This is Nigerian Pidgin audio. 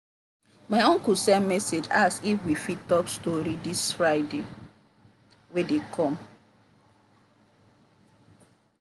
my uncle send message ask if we fit talk story this friday wer dey come